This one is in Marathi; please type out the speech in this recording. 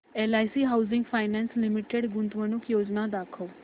एलआयसी हाऊसिंग फायनान्स लिमिटेड गुंतवणूक योजना दाखव